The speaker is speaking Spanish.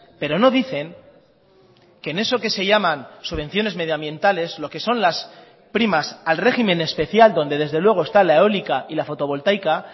pero no dicen que en eso que se llaman subvenciones medioambientales lo que son las primas al régimen especial donde desde luego está la eólica y la fotovoltaica